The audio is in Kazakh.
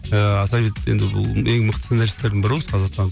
ыыы сәбит енді бұл ең мықты сценаристердің бірі ғой осы қазақстанның